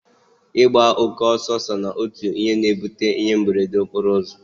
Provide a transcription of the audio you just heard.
Ịgba oke ọsọ so n'otu ihe na-ebute ihe mberede okporo ụzọ